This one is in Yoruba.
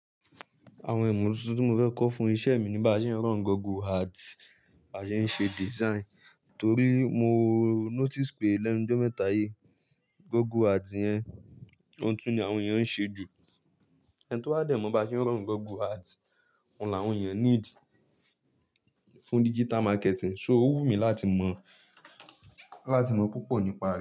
Àwọn ìmọ̀ tuntun tí mo fẹ́ kọ́ fún iṣẹ́ mi níbàá ṣe ẹ ń run Google Ads à ṣe ṣe design. Torí mo notice pé lẹnu ijọ́ mẹ́ta yìí, Google Ads yẹn, ohun tuntun ni àwọn èèyàn ń ṣe jù. Ẹni tó bá dẹ̀ mọ̀ bá ṣe ń ràn Google Ads, òun làwọn èèyàn need fún digital marketing. So, ó wù mí láti mọ̀, láti mọ̀ púpọ̀ nípa rẹ̀.